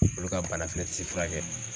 Olu ka bana fɛnɛ ti furakɛ